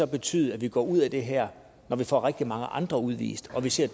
betyde at vi går ud af det her når vi får rigtig mange andre udvist og vi ser